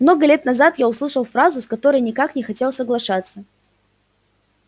много лет назад я услышал фразу с которой никак не хотел соглашаться